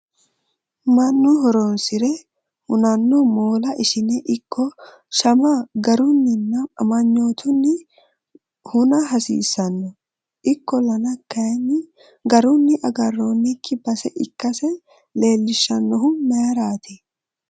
mannu horonsire hunanno moola ishine ikko shama garunninna amanyootunni huna hasiissanno, ikkollana kuni garunni agarroonnikki base ikkase leelishshannohu mayiiraati ?